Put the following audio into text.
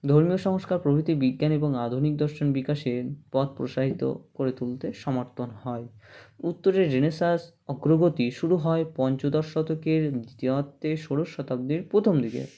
ধর্মীয় সংস্কার প্রভৃতি বিজ্ঞান এবং আধুনিক দর্শন বিকাশের পথ প্রসারিত করে তুলতে সমর্থন হয় উত্তরে Renaissance অগ্ৰগতি শুরু হয় পঞ্চদশ শতকের দিতিয়াতে ষোড়শ শতাব্দীর প্রথম দিকে